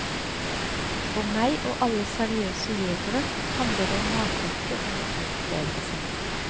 For meg, og alle seriøse jegere, handler det om matauke og naturopplevelse.